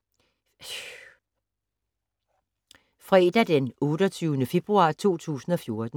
Fredag d. 28. februar 2014